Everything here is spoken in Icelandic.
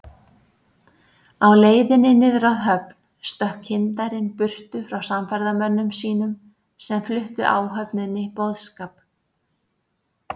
Á leiðinni niður að höfn stökk kyndarinn burtu frá samferðamönnum sínum, sem fluttu áhöfninni boðskap